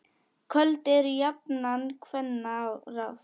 Köld eru jafnan kvenna ráð.